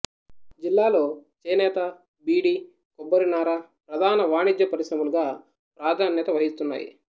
జిల్లాలో చేనేత బీడి కొబ్బరినార ప్రధాన వాణిజ్య పరిశ్రమలుగా ప్రధాన్యత వహిస్తున్నాయి